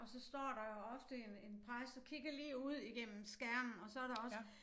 Og så står der jo ofte en en præst og kigger lige ud igennem skærmen og så der også